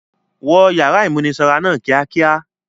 Wọ ìyàrá ìmúnisanra náà kíákíá!